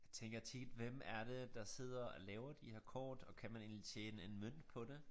Jeg tænker tit hvem er det der sidder og laver de her kort og kan man egentlig tjene en mønt på det